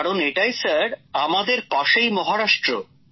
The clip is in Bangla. কারণ এটাই স্যার আমাদের পাশেই মহারাষ্ট্র